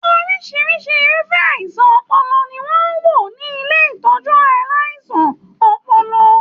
Orisirisi irufẹ àìsàn ọpọlọ ni wọn n wo ni ilé ìtọjú aláìsàn ọpọlọ.